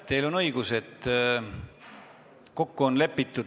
Teil on õigus.